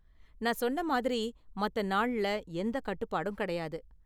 நான் சொன்ன மாதிரி, மத்த நாள்ல எந்த கட்டுப்பாடும் கிடையாது.